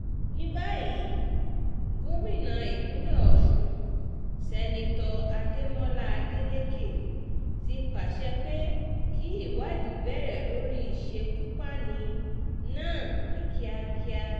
ní báyìí gómìnà ìpínlẹ̀ ọ̀sùn seneto adémọlá adeleke ti pàṣẹ pé kí ìwádìí bẹ̀rẹ̀ lórí ìṣekúpani náà ní kíákíá